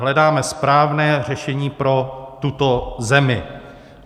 Hledáme správné řešení pro tuto zemi.